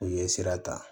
U ye sira ta